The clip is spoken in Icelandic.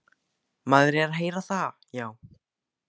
Maður er að heyra það, já.